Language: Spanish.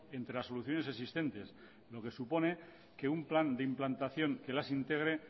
entre las soluciones existentes lo que supone que un plan de implantación que las integre